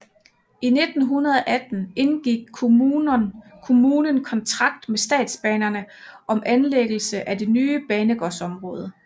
I 1918 indgik kommunen kontrakt med statsbanerne om anlægget af det nye banegårdsområde